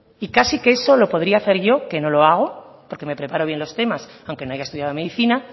y casi que eso lo podría hacer yo que no lo hago porque me preparo bien los temas aunque no haya estudiado medicina